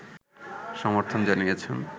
সমর্থন জানিয়েছেন